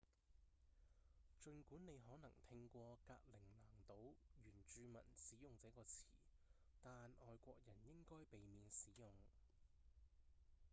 儘管你可能聽過格陵蘭島原住民使用這個詞但外國人應該避免使用